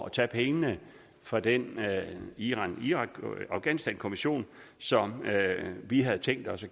at tage pengene fra den irak irak og afghanistankommission som vi havde tænkt os at